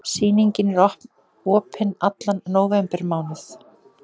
Sýningin er opin allan nóvembermánuð.